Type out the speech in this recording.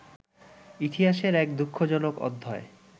ইতিহাসের এক দুঃখজনক অধ্যায়